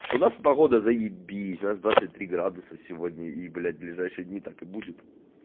что у нас погода заебись у нас двадцать три градуса сегодня и ближайшие дни так и будет